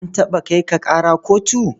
An taɓa kai ka ƙara kotu?